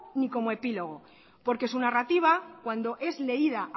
ni como epílogo porque su narrativa cuando es leída